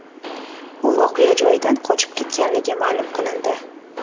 U voqea joyidan qochib ketganligi ma’lum qilindi.